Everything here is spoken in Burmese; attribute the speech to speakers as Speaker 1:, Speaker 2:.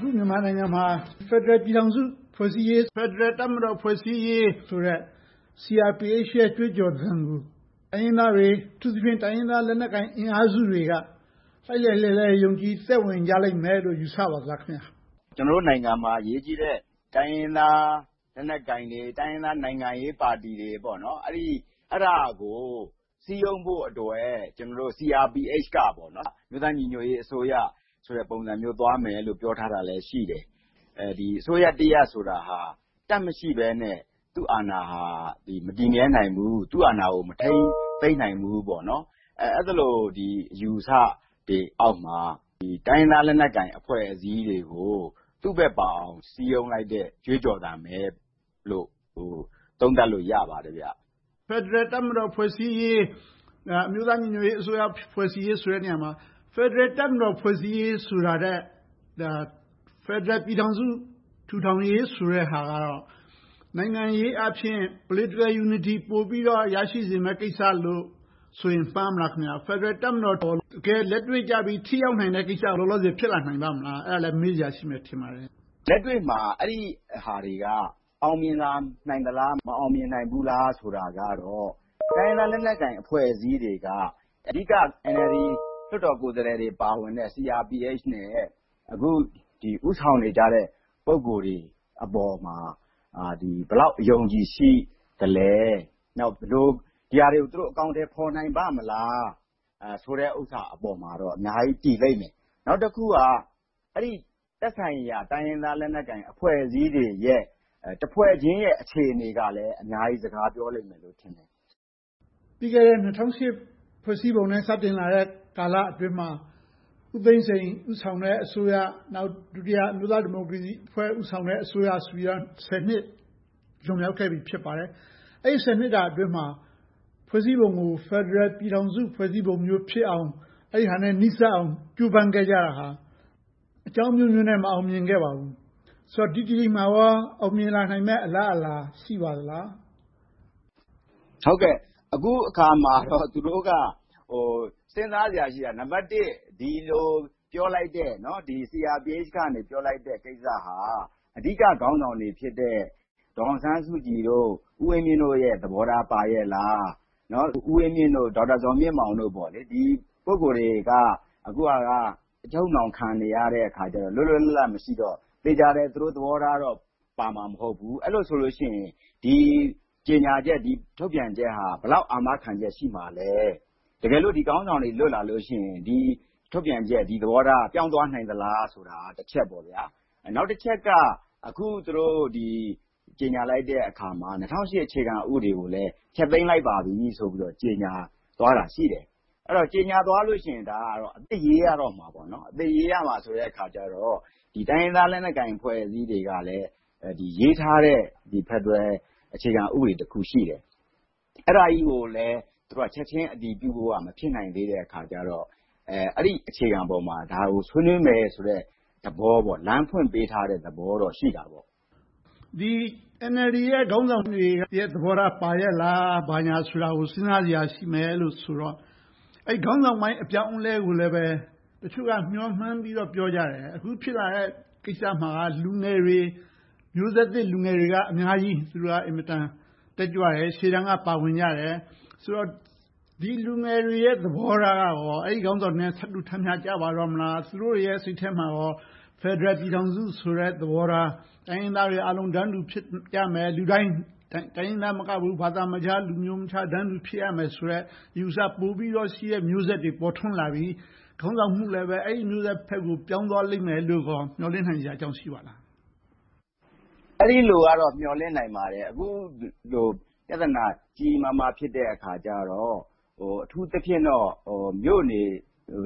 Speaker 1: ခု မြန်မာနိုင်ငံမှာ ဖယ်ဒရယ်ပြည်ထောင်စု ဖွဲ့စည်းရေး၊ ဖယ်ဒရယ်တပ်မတော် ဖွဲ့စည်းရေးဆိုတဲ့ CRPH ရဲ့ ကြွေးကြော်သံကို တိုင်းရင်းသားတွေ၊ အထူးသဖြင့် တိုင်းရင်းသားလက်နက်ကိုင် အင်အားစုတွေက လှိုက်လှိုက်လှဲလှဲ ယုံကြည်သက်ဝင်ကြလိမ့်မယ်လို့ ယူဆပါလားခင်များ
Speaker 2: ။ ဖြေ ။ ။ ကျနော်တို့နိုင်ငံမှာ အရေးကြီးတဲ့ တိုင်းရင်းသားလက်နက်ကိုင်တွေ၊ တိုင်းရင်းသားနိုင်ငံရေးပါတီတွေ အဲဒါကို စည်းရုံးဖို့အတွက် CRPH က အမျိုးသားညီညွှတ်ရေးအစိုးရ ပုံသဏ္ဍာန် သွားမယ်လို့ ပြောထားတာလည်း ရှိတယ်။ အစိုးရတရပ်ဆိုတာ တပ်မရှိဘဲနဲ့ သူ့အာဏာဟာ မတည်မြဲနိုင်ဘူး။ သူ့အာဏာကို မထိန်းသိမ်းနိုင်ဘူး။ အဲဒီလို အယူအဆတွေအောက်မှာ တိုင်းရင်းသားလက်နက်ကိုင် အဖွဲ့အစည်းတွေကို သူ့ဘက်ပါအောင် စည်းရုံးလိုက်တဲ့ ကြွေးကြော်သံပဲလို့ သုံးသပ်လို့ရပါတယ်။ မေး ။
Speaker 1: ။ ဖယ်ဒရယ်တပ်မတော် ဖွဲ့စည်းရေး၊ အမျိုးသားညီညွှတ်ရေးအစိုးရ ဖွဲ့စည်းရေးဆိုတဲ့နေရာမှာ ဖယ်ဒရယ်တပ်မတော် ဖွဲ့စည်းရေးဆိုတာထက် ဖယ်ဒရယ်ပြည်ထောင်စု ထူထောင်ရေးဆိုတဲ့ဟာက နိုင်ငံရေးအားဖြင့် Political Unity ပိုပြီးတော့ ရရှိစေမယ့်ကိစ္စလို့ဆိုရင် မှားမလား။ ဖယ်ဒရယ်တပ်မတော်က တကယ်လက်တွေ့ကျပြီး ထိရောက်နိုင်တဲ့ကိစ္စ လောလောဆယ် ဖြစ်လာနိုင်ပါ့မလား။ အဲဒါလဲ မေးစရာရှိမယ် ထင်ပါတယ်။
Speaker 2: ဖြေ ။ ။ လက်တွေ့မှာ အဲဒီဟာတွေက အောင်မြင်လာနိုင်မလား၊ မအောင်မြင်နိုင်ဘူးလား ဆိုတာကတော့ တိုင်းရင်းသားလက်နက်ကိုင် အဖွဲ့အစည်းတွေက အဓိက NLD လွှတ်တော်ကိုယ်စားလှယ်တွေ ပါဝင်တဲ့ CRPH နဲ့ အခု ဦးဆောင်နေကြတဲ့ ပုဂ္ဂိုလ်တွေအပေါ်မှာ ဘယ်လောက် အယုံအကြည်ရှိသလဲ။ ဒီဟာတွေကို သူတို့ ဘယ်လို အကောင်အထည် ဖော်နိုင်ပါ့မလား ဆိုတဲ့ဟာပေါ်မှာတော့ အများကြီးတည်လိမ့်မယ်။ နောက်တခုက အဲဒီသက်ဆိုင်ရာ တိုင်းရင်းသား လက်နက်ကိုင်အဖွဲ့အစည်းတွေရဲ့ တဖွဲ့ချင်းရဲ့ အခြေအနေကလဲ အများကြီး စကားပြောလိမ့်မယ်ထင်တယ်။
Speaker 1: မေး ။ ။ ၂၀၀၈ ဖွဲ့စည်းပုံနဲ့ စတင်လာတဲ့ကာလအတွင်းမှာ ဦးသိန်းစိန် ဦးဆောင်တဲ့အစိုးရ။ နောက် ဒုတိယ အမျိုးသားဒီမိုကရေစီ ဦးဆောင်တဲ့ အစိုးရဆိုပြီးတော့ ဆယ်နှစ် လွန်မြောက်ခဲ့ပြီ ဖြစ်ပါတယ်။ အဲဒီ ဆယ်နှစ်တာအတွင်းမှာ ဖွဲ့စည်းပုံကို ဖယ်ဒရယ်ပြည်ထောင်စု ဖွဲ့စည်းပုံမျိုးဖြစ်အောင် အဲဒါနဲ့ နီးစပ်အောင် ကြိုးပမ်းခဲ့ကြတာဟာ အကြောင်းအမျိုးမျိုးနဲ့ မအောင်မြင်ခဲ့ပါဘူး။ ဆိုတော့ ဒီတကြိမ်မှာကော အောင်မြင်လာနိုင်မယ့် အလားအလာ ရှိပါသလား။
Speaker 2: ဖြေ ။ ။ အခုအခါမှာတော့ သူတို့က စဉ်းစားစရာရှိတာက ဒီလိုပြောလိုက်တဲ့ CRPH က ပြောလိုက်တဲ့ကိစ္စဟာ အဓိကခေါင်းဆောင်တွေဖြစ်တဲ့ ဒေါ်အောင်ဆန်းစုကြည်၊ ဦးဝင်းမြင့်တို့ရဲ့ သဘောထားပါရဲ့လား။ ဦးဝင်းမြင့်၊ ဒေါက်တာဇော်မြင့်မောင်တို့ ဒီပုဂ္ဂိုလ်တွေက အခုအချိန်မှာ အချုပ်အနှောင်းခံနေရတော့ လွတ်လွတ်လပ်လပ် မရှိတော့၊ သေချာတယ် သူတို့သဘောထားတော့ ပါမှာမဟုတ်ဘူး။ အဲဒီလိုဆိုရင် ဒီကြေညာချက်၊ ဒီထုတ်ပြန်ချက်ဟာ ဘယ်လောက်အာမခံချက် ရှိမှာလဲ။ တကယ့်လို့ ဒီခေါင်းဆောင်တွေ လွတ်လာလို့ရှိရင် ဒီထုတ်ပြန်ချက်၊ သဘောထားက ပြောင်းသွားနိုင်သလားဆိုတာ တချက်ပေါ့။ နောက်တချက်က အခု ကြေညာလိုက်တဲ့အခါမှာ ၂၀၀၈ အခြေခံဥပဒေကိုလည်း ဖျက်သိမ်းလိုက်ပါပြီဆိုပြီး ကြေညာလိုက်တာ ရှိတယ်။ အဲဒီလို ကြေညာသွားလို့ရှိရင် အသစ်ရေးရတော့မယ်။ အသစ်ရေးရတော့မယ်ဆိုတော့ တိုင်းရင်းသားလက်နက်ကိုင် အဖွဲ့အစည်းတွေကလဲ ရေးထားတဲ့ ဖယ်ဒရယ်အခြေခံဥပဒေတခု ရှိတယ်။ အဲဒါကြီးကိုလဲ ချက်ချင်းအတည်ပြုဖို့က မဖြစ်နိုင်သေးတဲ့အခါကြတော့ အဲဒီအခြေခံပေါ်မှာ ဒါကိုဆွေးနွေးမယ်ဆိုတဲ့ လမ်းဖွင့်ပေးထားတဲ့သဘောတော့ ရှိတာပေါ့
Speaker 1: ။ မေး ။ ။ NLD ရဲ့ ခေါင်းဆောင်တွေရဲ့ သဘောထား ပါရဲ့လား၊ ဘာညာကို စဉ်းစားစရာရှိမယ်လို့ဆိုတော့ အဲဒီခေါင်းဆောင်ပိုင်း အပြောင်းအလဲကိုလဲ တချို့က မျှော်မှန်းပြီးတော့ ပြောကြတယ်။ အခုဖြစ်လာတဲ့ကိစ္စမှာက လူငယ်တွေ၊ မျိုးဆက်သစ်လူငယ်တွေက အများကြီးတက်ကြွတယ်။ ရှေ့တန်းကနေ ပါဝင်ကြတယ်ဆိုတော့ ဒီလူငယ်တွေရဲ့ သဘောထားကရော အဲဒီခေါင်းဆောင်တွေရဲ့ သဘောထားနဲ့ ထပ်တူထပ်မျှကျတော့မလား။ သူတို့တွေရဲ့ စိတ်ထဲမှာ ဖယ်ဒရယ်ပြည်ထောင်စုဆိုတဲ့ သဘောထား။ တိုင်းရင်းသားတွေအားလုံး တန်းတူဖြစ်ရမယ်။ လူတိုင်းလူတိုင်း တိုင်းရင်းသားမကဘူး၊ ဘာသာခြား၊ လူမျိုးမခြား တန်းတူဖြစ်ရမယ်ဆိုတဲ့ အယူအဆ ပိုပြီးတော့ရှိမယ့် မျိုးဆက်တွေ ပေါ်ထွန်းလာပြီ၊ ခေါင်းဆောင်မှုလဲ အဲဒီမျိုးဆက်ဘက်ကို ပြောင်းသွားလိမ့်မယ်လို့ မျှော်လင့်နိုင်စရာအကြောင်း ရှိပါသလား။ ဖြ
Speaker 2: ေ ။ ။ အဲဒီလိုကတော့ မျှော်လင့်နိုင်ပါတယ်။ အခုလို ပြဿနာ ကြီးကြီးမားမား ဖြစ်နေတဲ့အခါကြတော့ အထူးသဖြင့်တော့ မြို့နေ